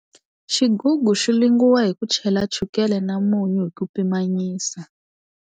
Xigugu xi lungiwa hi ku chela chukele na munyu hi ku pimanyisa.